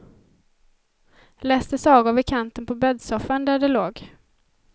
Läste sagor vid kanten på bäddsoffan där de låg.